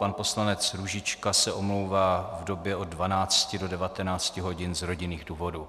Pan poslanec Růžička se omlouvá v době od 12.00 do 19.00 hodin z rodinných důvodů.